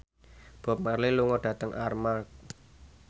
Bob Marley lunga dhateng Armargh